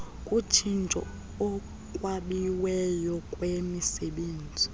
kutshintsho ekwabiweni kwemisebenzi